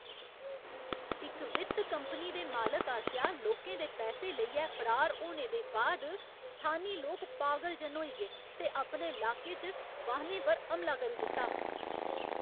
इक वित्त कंपनी दे मालक आसेआ लोकें दे पैसे लेइयै फरार होने दे बाद स्थानी लोक पागल जन होई गे ते अपने लाके च वाहनें पर हमला करी दित्ता।